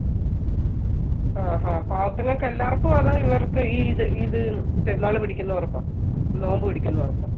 ആ ഹാ പാവത്തുങ്ങൾക്ക് എല്ലാവർക്കും ആണോ ഇവർക്ക് ഈ ഇത് ഇത് പെരുന്നാള് പിടിക്കുന്നവർക്കോ? നോയമ്പ് പിടിക്കുന്നവർക്കോ?